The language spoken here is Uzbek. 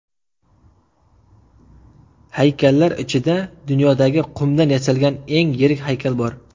Haykallar ichida dunyodagi qumdan yasalgan eng yirik haykal bor.